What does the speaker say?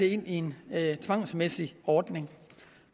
ind i en tvangsmæssig ordning